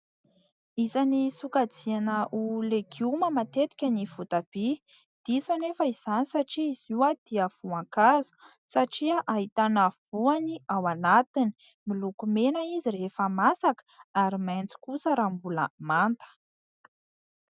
Isany sokajiana ho legioma matetika ny voatabia. Diso anefa izany satria izy io dia voankazo, satria ahitana voany ao anatiny. Miloko mena izy rehefa masaka, ary maitso kosa raha mbola manta.